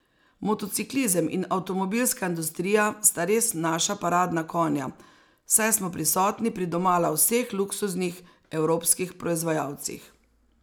Motociklizem in avtomobilska industrija sta res naša paradna konja, saj smo prisotni pri domala vseh luksuznih evropskih proizvajalcih.